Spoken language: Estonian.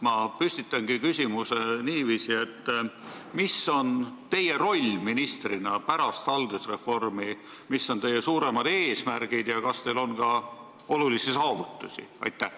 Ma püstitan küsimuse niiviisi: mis on teie roll ministrina pärast haldusreformi, mis on teie suuremad eesmärgid ja kas teil on ka olulisi saavutusi?